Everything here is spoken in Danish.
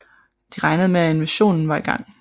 De regnede med at invasionen var i gang